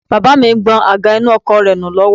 Baba mi ń gbọn àga inú ọkọ̀ rẹ nù lọ́wọ́